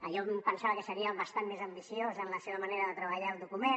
jo em pensava que seria bastant més ambiciós en la seva manera de treballar el document